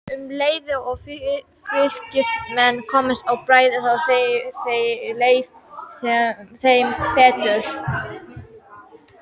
Um leið og Fylkismenn komust á bragðið þá leið þeim betur.